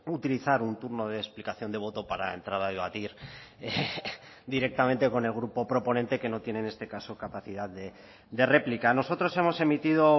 utilizar un turno de explicación de voto para entrar a debatir directamente con el grupo proponente que no tiene en este caso capacidad de réplica nosotros hemos emitido